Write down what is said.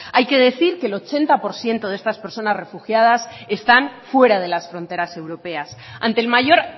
hay que decir que el ochenta por ciento de estas personas refugiadas están fuera de las fronteras europeas ante el mayor